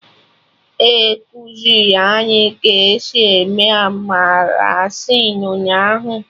E kuziri anyị ka esi eme Arancini ụnyaahụ